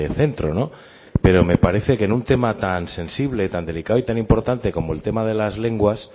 centro no pero me parece que en un tema tan sensible tan delicado y tan importante como el tema de las lenguas